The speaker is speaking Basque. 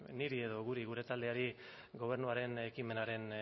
niri edo guri gure taldeari gobernuaren ekimenaren